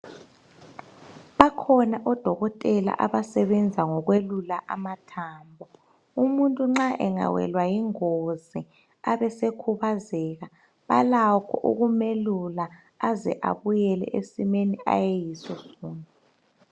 Bakhona odokotela abasebenza ngokuyelula amathambo umuntu nxa engawelwa yingozi abe esekhubazeka balakho ukumelula aze abuyele ezimeni ayeyiso sona